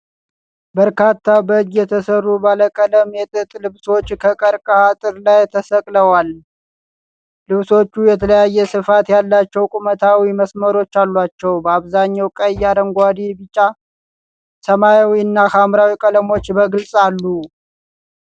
በርካታ በእጅ የተሰሩ ባለቀለም የጥጥ ልብሶች ከቀርከሃ አጥር ላይ ተሰቅለዋል። ልብሶቹ የተለያየ ስፋት ያላቸው ቁመታዊ መስመሮች አሏቸው። በአብዛኛው ቀይ፣ አረንጓዴ፣ ቢጫ፣ ሰማያዊ እና ሐምራዊ ቀለሞች በግልጽ አሉት።